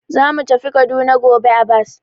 Za mu tafi Kaduna gobe a bas.